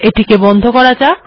এটিকে বন্ধ করা যাক